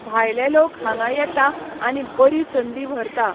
भायले लोक हांगा येता आनी बरी संदी व्हरता.